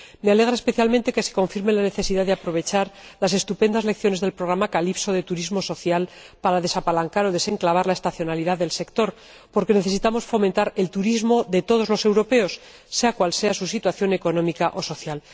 Me alegra especialmente que se confirme la necesidad de aprovechar las estupendas lecciones del programa Calypso de turismo social para desapalancar o desenclavar la estacionalidad del sector, porque necesitamos fomentar el turismo de todos los europeos, sea cual sea su situación económica o social.